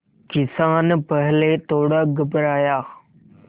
किसान पहले थोड़ा घबराया